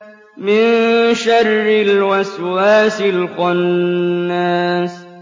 مِن شَرِّ الْوَسْوَاسِ الْخَنَّاسِ